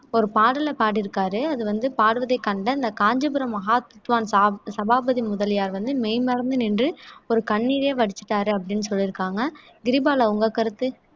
ஒரு பாடலைப் பாடியிருக்காரு அது வந்து பாடுவதைக் கண்ட இந்த காஞ்சிபுரம் மகா வித்வான் சபாபதி முதலியார் வந்து மெய்மறந்து நின்று அவரு கண்ணீரே வடிச்சுட்டாரு அப்படீன்னு சொல்லிருக்காங்க கிரிபாலா உங்க கருத்து